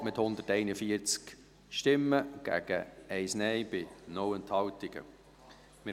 Sie haben diese Planungserklärung mit 141 JaStimmen gegen 1 Nein-Stimme bei 0 Enthaltungen übernommen.